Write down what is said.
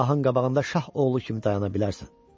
Şahın qabağında şah oğlu kimi dayana bilərsən.